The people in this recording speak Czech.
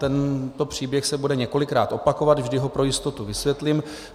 Tento příběh se bude několikrát opakovat, vždy ho pro jistotu vysvětlím.